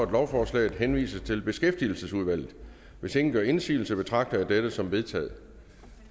at lovforslaget henvises til beskæftigelsesudvalget hvis ingen gør indsigelse betragter jeg dette som vedtaget